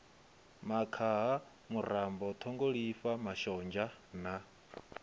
makhaha murambo ṱhungulifha mashonzha na